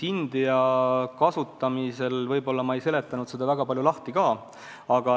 India-suunalist tegevust ma võib-olla ei seletanud korralikult lahti ka.